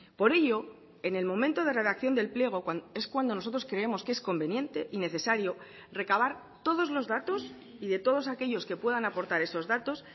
por ello en el momento de redacción del pliego es cuando nosotros creemos que es conveniente y necesario recabar todos los datos y de todos aquellos que puedan aportar esos datos